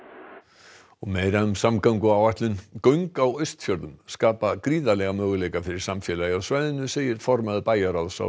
og meira um samgönguáætlun göng á Austfjörðum skapa gríðarlega möguleika fyrir samfélagið á svæðinu segir formaður bæjarráðs á